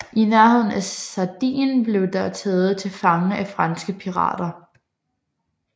I nærheden af Sardien blev det taget til fange af franske pirater